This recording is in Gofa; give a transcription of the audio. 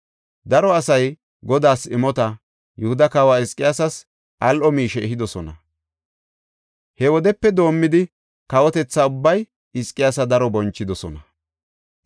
Daro asay Godaas imota, Yihuda kawa Hizqiyaasas al7o miishe ehidosona. He wodepe doomidi kawotetha ubbay Hizqiyaasa daro bonchidosona.